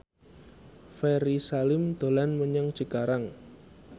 Ferry Salim dolan menyang Cikarang